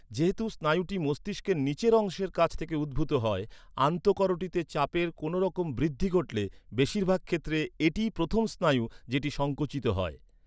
যেহেতু স্নায়ুটি মস্তিষ্কের নীচের অংশের কাছ থেকে উদ্ভূত হয়, আন্তঃকরোটিতে চাপের কোনোরকম বৃদ্ধি ঘটলে বেশিরভাগ ক্ষেত্রে এটিই প্রথম স্নায়ু, যেটি সংকুচিত হয়।